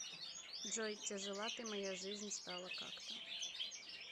джой тяжела ты моя жизнь стала как то